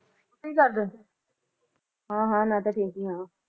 ਕਿ ਕਰਦੇ ਹਾਂ ਹਾਂ ਨਾਟਕ ਦੇਖਦੀ ਆਏ